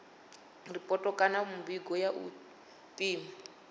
ripoto kana mivhigo ya u pima